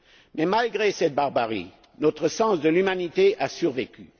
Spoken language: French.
Mais malgré cette barbarie, notre sens de l'humanité a survécu.